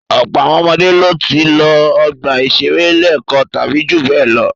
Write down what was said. Ọ̀pọ̀ àwọn ọmọdé ló ti lọ ọgbà-ìṣeré lẹ́ẹ̀kan tàbí ju bẹ́ẹ̀ lọ.